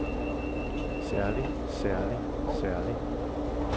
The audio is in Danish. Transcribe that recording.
særlig særlig særlig